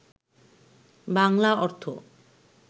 বাংলা অর্থ